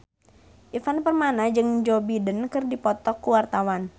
Ivan Permana jeung Joe Biden keur dipoto ku wartawan